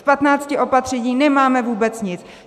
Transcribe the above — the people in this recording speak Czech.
Z 15 opatření nemáme vůbec nic.